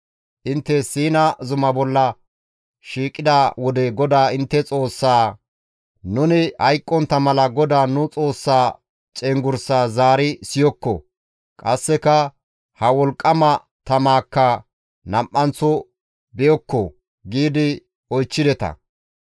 Intte Siina zuma bolla shiiqida wode GODAA intte Xoossaa, «Nuni hayqqontta mala GODAA nu Xoossaa cenggurssaa zaari siyokko; qasseka ha wolqqama tamaakka nam7anththo be7okko» giidi oychchideta.